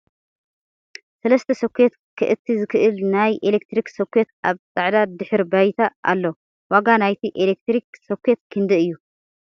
ሰለስተ ሶኬት ከእቲ ዝክእል ንይ ኤለክትሪክ ሶኬት ኣብ ፃዕድ ድሕረ ባይታ ኣሎ ። ዋጋ ናይቲ ኤለክትሪክ ሶኬት ክንደይ እዩ ?